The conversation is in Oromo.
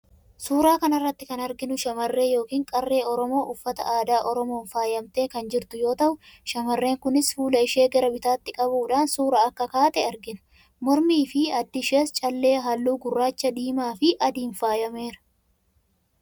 Suuraa kana irratti kan arginu shamarree yookiin qarree Oromoo uffata aadaa Oromoon faayamtee kan jirtu yoo ta'u, shamarreen kunis fuula ishee gara bitaatti qabuudhaan suuraa akka kaate argina. Mormii fi addi ishees callee halluu gurraacha, diimaa fi adiin faayameera.